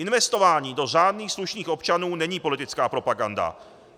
Investování do řádných slušných občanů není politická propaganda.